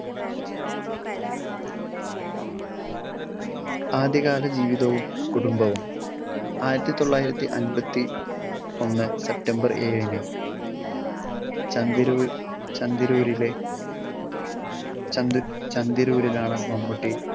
ആദ്യകാല ജീവിതവും കുടുംബവും. ആയിരത്തി തൊള്ളായിരത്തി അൻപത്തി ഒന്ന് സെപ്‌റ്റംബർ ഏഴിന് ചന്ദരൂ~ ചന്ദരൂരിലെ ചന്ദ~ ചന്ദരൂരിലാണ് മമ്മൂട്ടി